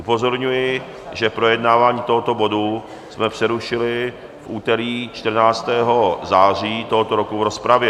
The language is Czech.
Upozorňuji, že projednávání tohoto bodu jsme přerušili v úterý 14. září tohoto roku v rozpravě.